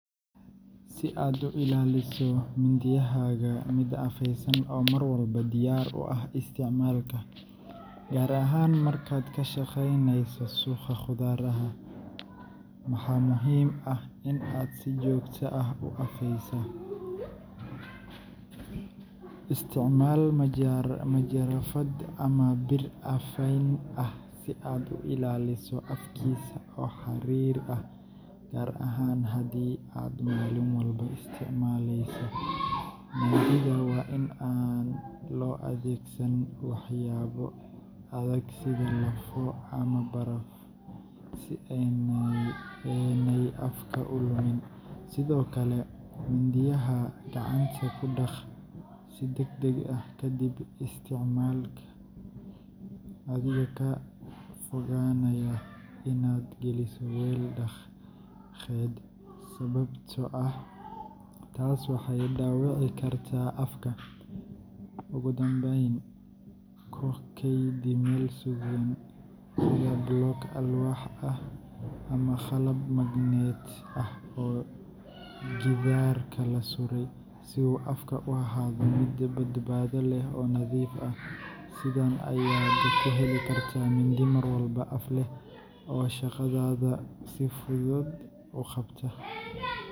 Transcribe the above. Si aad u ilaaliso mindiyahaaga mid afaysan oo mar walba diyaar u ah isticmaalka, gaar ahaan markaad ka shaqaynayso suuqa khudradda, waxaa muhiim ah in aad si joogto ah u afayso. Isticmaal majarafad ama bir afayn ah si aad u ilaaliso afkiisa oo xariir ah, gaar ahaan haddii aad maalin walba isticmaaleyso. Mindida waa in aan loo adeegsan waxyaabo adag sida lafo ama baraf, si aanay afka u lumin. Sidoo kale, mindiyaha gacanta ku dhaq si degdeg ah kadib isticmaalka, adigoo ka fogaanaya inaad geliso weel-dhaqeed, sababtoo ah taas waxay dhaawici kartaa afka. Ugu dambayn, ku kaydi meel sugan sida blok alwaax ah ama qalab magnet ah oo gidaarka la suray, si uu afku u ahaado mid badbaado leh oo nadiif ah. Sidan ayaad ku heli kartaa mindi mar walba af leh oo shaqadaada si hufan u qabta.